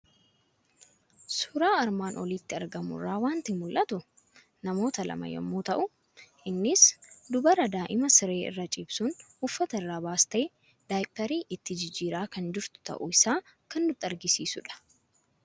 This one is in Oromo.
Suuraa armaan olitti argamu irraa waanti mul'atu; namoota lama yommuu ta'u, innis dubara daa'immaan siree irra ciibsuun uffata irraa baastee daayipheri itti jijjirraa kan jirtu ta'uu isaa kan nutti agarsiisudha.